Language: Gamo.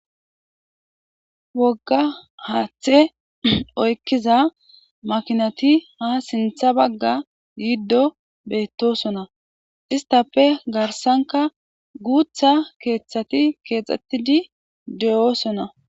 Wogga haaththe oykkiza makinati ha sintha bagga yiddo beettosona istappe garsanka guutha keeththati keexxettidi de'osona.